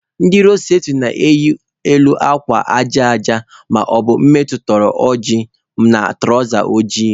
Ndị road safeti na-eyi elu akwa aja aja maọbụ mme jituru oji na tụrawza ojii.